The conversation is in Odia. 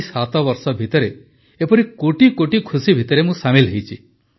ଏହି 7 ବର୍ଷ ଭିତରେ ଏପରି କୋଟିକୋଟି ଖୁସି ଭିତରେ ମୁଁ ସାମିଲ୍ ହୋଇଛି